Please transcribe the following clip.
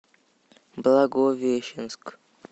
благовещенск